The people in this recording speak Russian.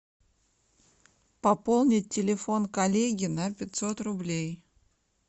пополнить телефон коллеги на пятьсот рублей